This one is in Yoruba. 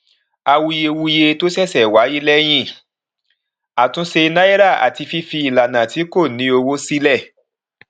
àwuyewuye tó ṣẹṣẹ wáyé lẹyìn àtúnṣe naira àti fífi ìlànà tí kò ní owó sílẹ